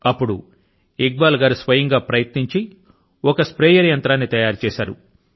అప్పుడు ఇక్ బాల్ గారు స్వయం గా ప్రయత్నించి ఒక స్ప్రేయర్ యంత్రాన్ని తయారుచేశారు